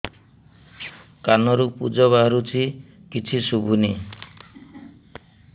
କାନରୁ ପୂଜ ବାହାରୁଛି କିଛି ଶୁଭୁନି